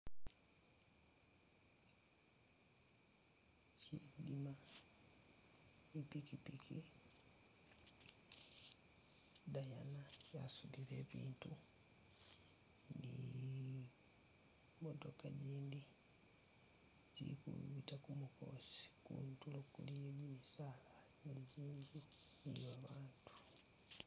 Shitima ipikyipikyi , idayana yasudile ibitu ni motoka jindi zikubita kumukosi kutulo kuliyo bisala ni babatela.